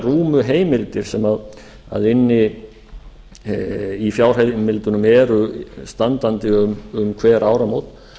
rúmu heimildir sem inni í fjárheimildunum eru standandi um hver áramót